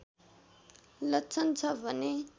लक्षण छ भने